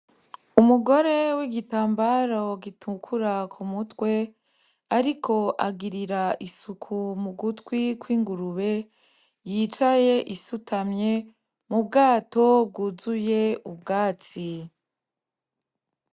Umugore w'igitambaro gitukura ku mutwe, ariko agirira isuku mu gutwi kw'ingurube yicaye isutamye mu bwato bwuzuye ubwatsi.